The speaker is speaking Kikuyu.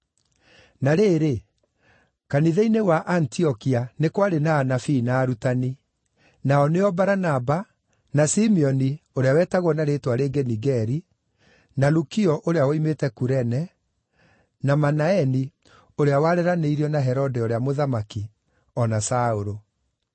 Na rĩrĩ, kanitha-inĩ wa Antiokia nĩ kwarĩ na anabii na arutani: nao nĩo Baranaba, na Simeoni ũrĩa wetagwo na rĩĩtwa rĩngĩ Nigeri, na Lukio ũrĩa woimĩte Kurene, na Manaeni (ũrĩa wareranĩirio na Herode ũrĩa mũthamaki), o na Saũlũ.